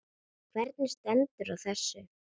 Hvernig stendur á þessu?.